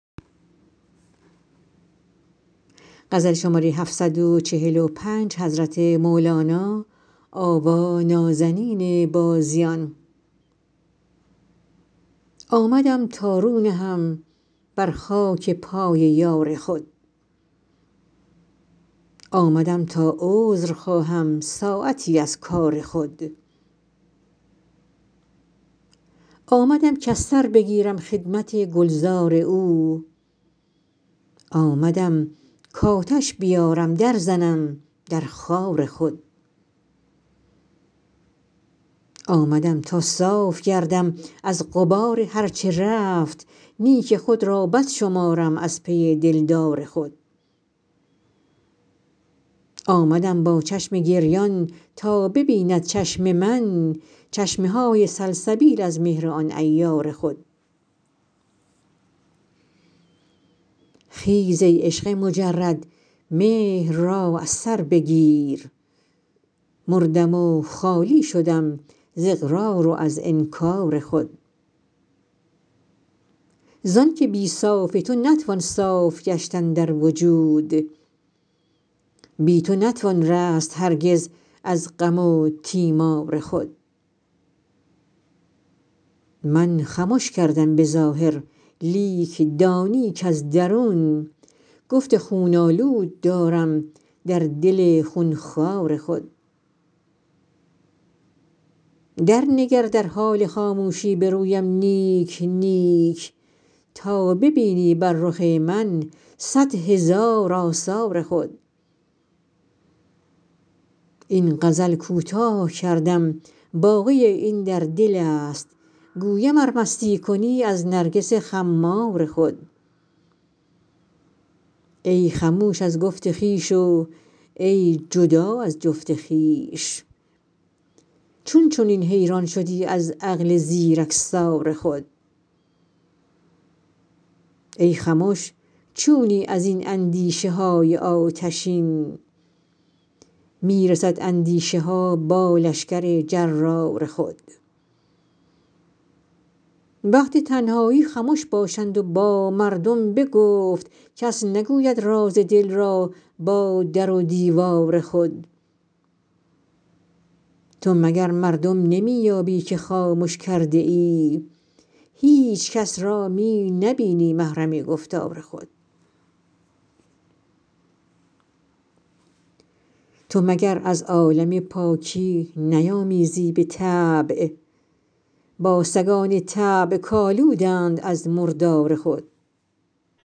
آمدم تا رو نهم بر خاک پای یار خود آمدم تا عذر خواهم ساعتی از کار خود آمدم کز سر بگیرم خدمت گلزار او آمدم کآتش بیارم درزنم در خار خود آمدم تا صاف گردم از غبار هر چه رفت نیک خود را بد شمارم از پی دلدار خود آمدم با چشم گریان تا ببیند چشم من چشمه های سلسبیل از مهر آن عیار خود خیز ای عشق مجرد مهر را از سر بگیر مردم و خالی شدم ز اقرار و از انکار خود زانک بی صاف تو نتوان صاف گشتن در وجود بی تو نتوان رست هرگز از غم و تیمار خود من خمش کردم به ظاهر لیک دانی کز درون گفت خون آلود دارم در دل خون خوار خود درنگر در حال خاموشی به رویم نیک نیک تا ببینی بر رخ من صد هزار آثار خود این غزل کوتاه کردم باقی این در دل است گویم ار مستم کنی از نرگس خمار خود ای خموش از گفت خویش و ای جدا از جفت خویش چون چنین حیران شدی از عقل زیرکسار خود ای خمش چونی از این اندیشه های آتشین می رسد اندیشه ها با لشکر جرار خود وقت تنهایی خمش باشند و با مردم به گفت کس نگوید راز دل را با در و دیوار خود تو مگر مردم نمی یابی که خامش کرده ای هیچ کس را می نبینی محرم گفتار خود تو مگر از عالم پاکی نیامیزی به طبع با سگان طبع کآلودند از مردار خود